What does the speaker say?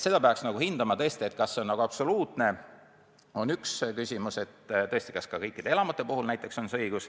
Seda peaks aga tõesti hindama, kas see õigus peab olema absoluutne ja kehtima ka kõikide elamute puhul.